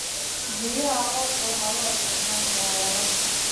Biyaha roobka waxaa loo isticmaali karaa waraabka.